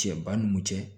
Cɛ ba ni mun cɛ